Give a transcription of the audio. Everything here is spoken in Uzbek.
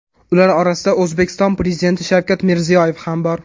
Ular orasida O‘zbekiston Prezidenti Shavkat Mirziyoyev ham bor.